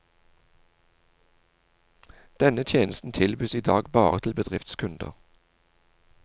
Denne tjenesten tilbys i dag bare til bedriftskunder.